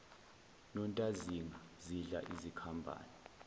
nontazinga zidla izikhambane